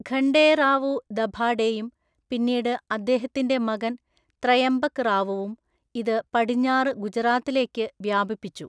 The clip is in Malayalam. ഖണ്ഡേറാവു ദഭാഡെയും പിന്നീട് അദ്ദേഹത്തിന്റെ മകൻ ത്രയംബക് റാവുവും ഇത് പടിഞ്ഞാറ് ഗുജറാത്തിലേക്ക് വ്യാപിപ്പിച്ചു.